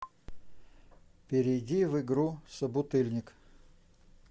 перейди в игру собутыльник